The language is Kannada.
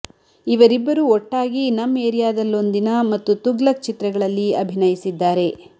ಇವರಿಬ್ಬರು ಒಟ್ಟಾಗಿ ನಮ್ ಏರಿಯಾದಲ್ಲೊಂದ್ ದಿನ ಮತ್ತು ತುಗ್ಲಕ್ ಚಿತ್ರಗಳಲ್ಲಿ ಅಭಿನಯಿಸಿದ್ದಾರೆ